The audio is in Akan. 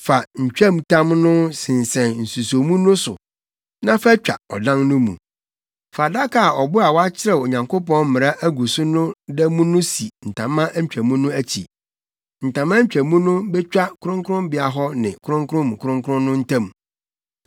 Fa ntwamtam no sensɛn nsusomu no so na fa twa ɔdan no mu. Fa adaka a ɔbo a wɔakyerɛw Onyankopɔn mmara agu so no da mu no si ntama ntwamu no akyi. Ntama ntwamu no betwa kronkronbea hɔ ne kronkron mu kronkron no ntam.